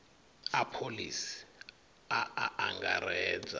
a pholisi a a angaredza